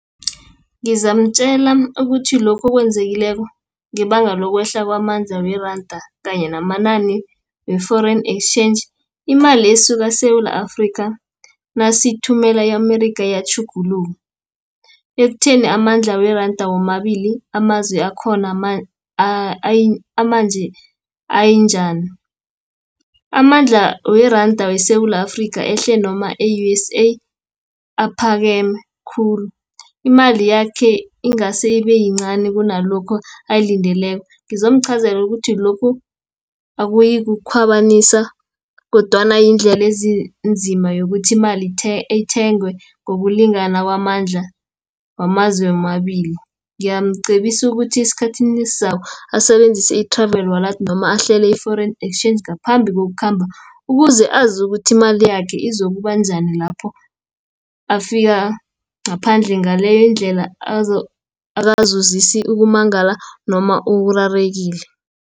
Ngizamtjela ukuthi lokhu okwenzekileko, ngebanga lokwehla kwamandla weranda, kanye namani we-Foreign Exchange. Imali esuka eSewula Afrika nasiyithumela e-Amerika iyatjhuguluka, ekutheni amandla weranda womabili amazwe akhona anjani. Amandla weranda weSewula Afrika, ehle noma e-U_S_A, aphakeme khulu, imali yakhe ingase ibeyincani kunalokho ayilindeleko, ngizomchazela ukuthi lokhu akuyikukhwabanisa, kodwana yindlela ezinzima yokuthi imali ithengwe ngokulingana kwamandla wamazwe womabili. Ngiyamcebisa ukuthi esikhathini esizako, asebenzise i-Travel Wallet, noma ahlele i-Foreign Exchange ngaphambi kokukhamba, ukuze azi ukuthi imali yakhe izokuba njani lapho afika ngaphandle, ngaleyondlela ukumangala noma ukurarekile